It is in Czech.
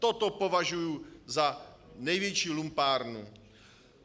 Toto považuji za největší lumpárnu.